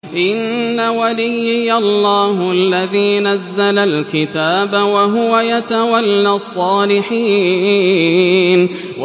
إِنَّ وَلِيِّيَ اللَّهُ الَّذِي نَزَّلَ الْكِتَابَ ۖ وَهُوَ يَتَوَلَّى الصَّالِحِينَ